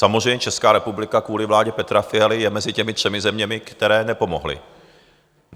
Samozřejmě Česká republika kvůli vládě Petra Fialy je mezi těmi třemi zeměmi, které nepomohly.